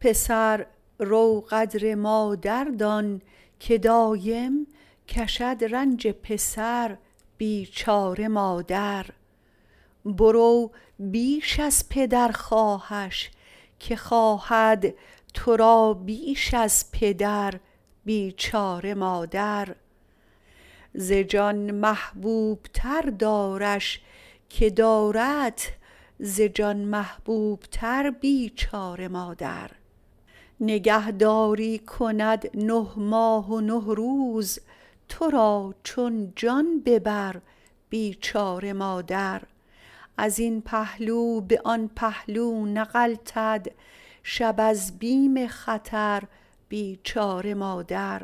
پسر رو قدر مادر دان که دایم کشد رنج پسر بیچاره مادر برو بیش از پدر خواهش که خواهد تو را بیش از پدر بیچاره مادر ز جان محبوب تر دارش که داردت ز جان محبوب تر بیچاره مادر نگهداری کند نه ماه و نه روز تو را چون جان به بر بیچاره مادر از این پهلو به آن پهلو نغلتد شب از بیم خطر بیچاره مادر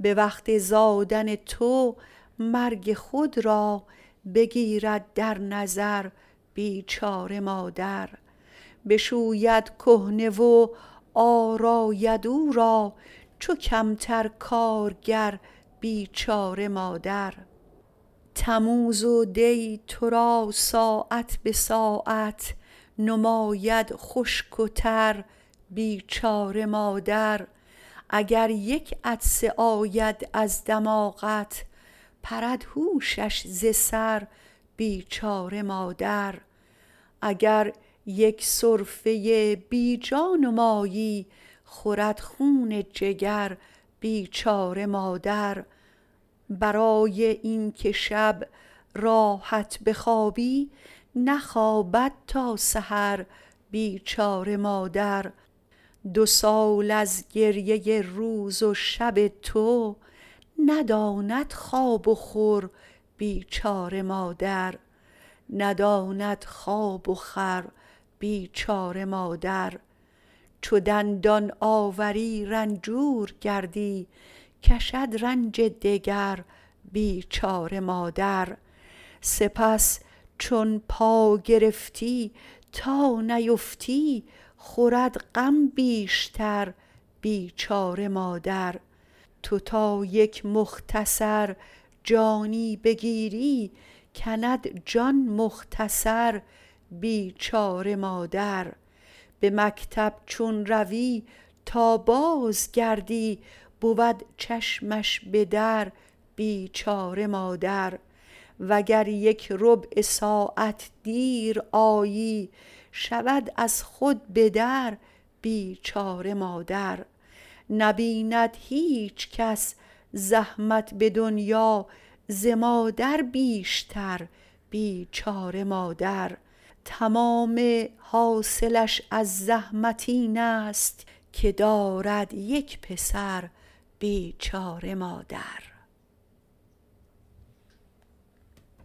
به وقت زادن تو مرگ خود را بگیرد در نظر بیچاره مادر بشوید کهنه و آراید او را چو کمتر کارگر بیچاره مادر تموز و دی تو را ساعت به ساعت نماید خشک و تر بیچاره مادر اگر یک عطسه آید از دماغت پرد هوشش ز سر بیچاره مادر اگر یک سرفه بی جا نمایی خورد خون جگر بیچاره مادر برای این که شب راحت بخوابی نخوابد تا سحر بیچاره مادر دو سال از گریۀ روز و شب تو نداند خواب و خور بیچاره مادر چو دندان آوری رنجور گردی کشد رنج دگر بیچاره مادر سپس چون پا گرفتی تا نیفتی خورد غم بیشتر بیچاره مادر تو تا یک مختصر جانی بگیری کند جان مختصر بیچاره مادر به مکتب چون روی تا بازگردی بود چشمش به در بیچاره مادر و گر یک ربع ساعت دیر آیی شود از خود بدر بیچاره مادر نبیند هیچ کس زحمت به دنیا ز مادر بیشتر بیچاره مادر تمام حاصلش از زحمت اینست که دارد یک پسر بیچاره مادر